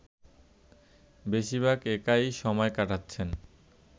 বেশিরভাগ একাই সময় কাটাচ্ছেন